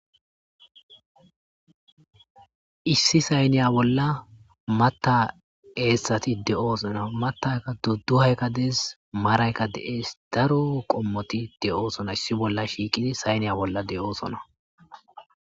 issi sayniya bolla matta eessati de7oosona mattaykka dudduhayka dees maraykka de7ees daro qommoti de7oosona issi bolla shiiqidi sayniya bolla de7oosona